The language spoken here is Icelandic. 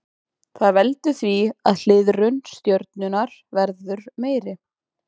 Það veldur því að hliðrun stjörnunnar verður meiri.